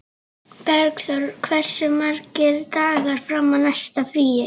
Bergþór, hversu margir dagar fram að næsta fríi?